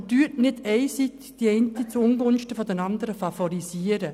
Aber favorisieren Sie nicht einseitig die eine Massnahme zuungunsten der anderen.